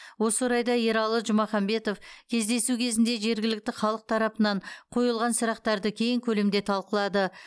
осы орайда ералы жұмаханбетов кездесу кезінде жергілікті халық тарапынан қойылған сұрақтарды кең көлемде талқылады